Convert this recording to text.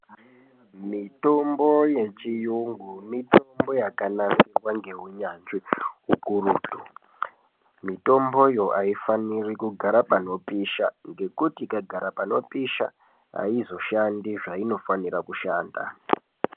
Mitombo yechiyungu mitombo yakanasirwa ngeunyanzvi ukurutu. Mitomboyo aifaniri kugara panopisha, ngekuti ikagara panopisha aizoshandi zveinofanira kushanda.